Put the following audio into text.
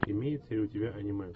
имеется ли у тебя аниме